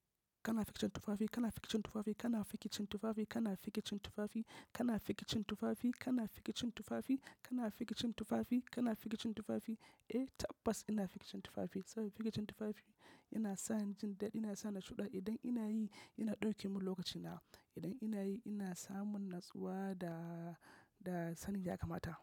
Kana fikicin tufafi, kana fikicin tufafi, kana fikicin tufafi, kana fikicin tufafi, kana fikicin tufafi, kana fikicin tufafi, kana fikicin tufafi, kana fikicin tufafi. Eh tabbas ina fikicin tufafi saboda fikicin tufafi yana sa ni jin dadi, yana sa ni shuɗa. Idan ina yi, yana ɗauke mun lokaci na. Idan ina yi, ina samun natsuwa da, da sanin ya kamata.